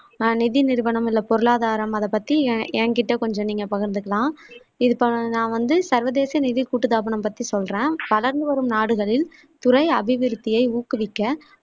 நிதி நிறுவனம் இல்ல பொருளாதாரம் அதை பத்தி என் எங்கிட்ட கொஞ்சம் நீங்க பகிர்நந்துக்கலாம் இது ப நான் வந்து சர்வதேச நிதி கூட்டு தாபனம் பத்தி சொல்றேன் வளர்ந்து வரும் நாடுகளில் துறை அபிவிருத்தியை ஊக்குவிக்க